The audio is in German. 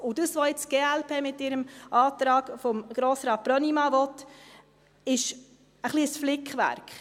Was die glp jetzt mit ihrem Antrag von Grossrat Brönnimann will, ist ein wenig ein Flickwerk.